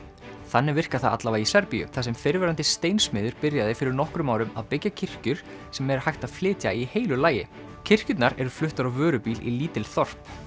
þannig virkar það allavega í Serbíu þar sem fyrrverandi steinsmiður byrjaði fyrir nokkrum árum að byggja kirkjur sem er hægt að flytja í heilu lagi kirkjurnar eru fluttar á vörubíl í lítil þorp